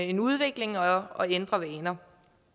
en udvikling og og ændre vaner